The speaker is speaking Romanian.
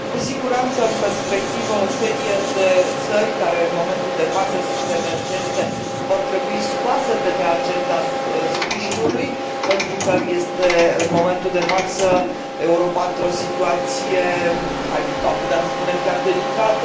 Cu siguranță, în perspectivă, o serie de țări care în momentul de față sunt emergente, vor trebui scoase de pe agenda sprijinului, pentru că este în momentul de față Europa într o situație, am putea spune chiar delicată